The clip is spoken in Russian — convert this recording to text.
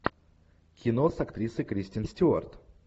кино с актрисой кристен стюарт